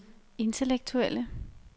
intellektuelle